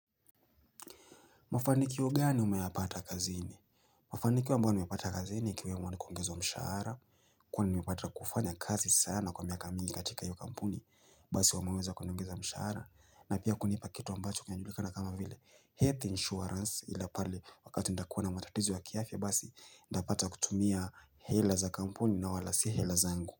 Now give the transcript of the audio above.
Mafanikio gani umeyapata kazini Mafanikio ambayo nimepata kazini ikiwemo ni kuongezwa mshahara kuwa nimepata kufanya kazi sana kwa miaka mingi katika hio kampuni basi wameweza kuniongeza mshahara na pia kunipa kitu ambacho kinajulikana kama vile health insurance ile pale wakati nitakuwa na matatizo ya kiafia basi nitapata kutumia hela za kampuni na wala si hela zangu.